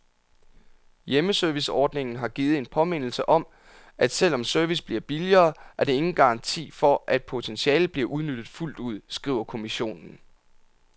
Hjemmeserviceordningen har givet en påmindelse om, at selv om service bliver billigere, er det ingen garanti for, at potentialet bliver udnyttet fuldt ud, skriver kommissionen.